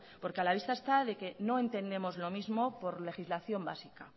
porque a la vista está que no entendemos lo mismo por legislación básica